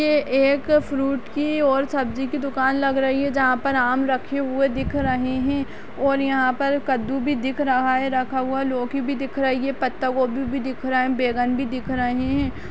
ये एक फ्रूट की और सब्जी की दुकान लग रही है जहाँ पर आम रखे हुए दिख रहे हैं और यहाँ पर कद्दू भी दिख रहा है रखा हुआ लौकी भी दिख रही है पत्ता गोभी भी दिख रहा है बैंगन भी दिख रहे हैं।